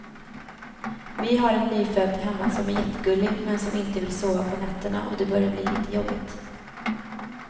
Vi har en nyfödd hemma som är jättegullig, men som inte vill sova på nätterna och det börjar bli lite jobbigt.